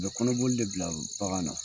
U bɛ kɔnɔbɔli de bila bagan na.